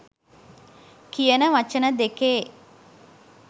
කියන වචන දෙකේ